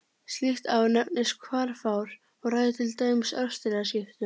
Slíkt ár nefnist hvarfár og ræður til dæmis árstíðaskiptum.